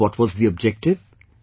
And what was the objective